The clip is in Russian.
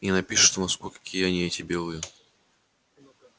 и напишет в москву какие они эти белые